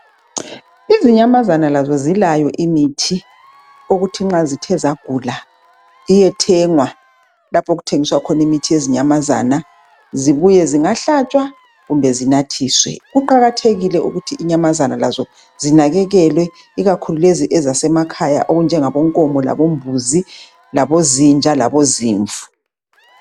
Izinyamazana lazo zilayo imithi okuthi nxa zithe zagula iyethengwa lapho okuthengiswa khona imithi yezinyamazana. Zibuye zingahlatshwa kumbe zinathiswe. Kuqakathekile ukuthi inyamazana lazo zinakekelwe ikakhulu lezi ezasemakhaya okunjengabo nkomo labombuzi, labozinja labozimvu.